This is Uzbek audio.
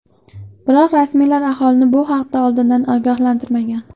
Biroq rasmiylar aholini bu haqda oldindan ogohlantirmagan.